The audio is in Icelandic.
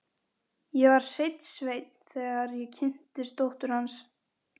Ég var hreinn sveinn, þegar ég kynntist dóttur hans.